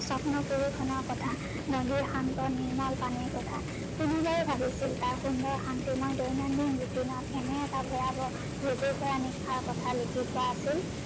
চপ্ন কথা, নদীৰ শান্ত নিৰ্মল পানীৰ কথা কোনোবাই ভাবিছিল তাৰ সুন্দৰ শান্তিময় দৈনন্দিন routine ত এনে এটা ভয়াবহ নিশাৰ ক্থা লিখি থোৱা আছিল